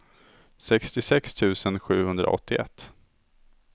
sextiosex tusen sjuhundraåttioett